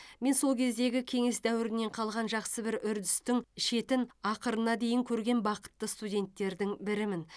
мен сол кездегі кеңес дәуірінен қалған жақсы бір үрдістің шетін ақырына дейін көрген бақытты студенттердің бірімін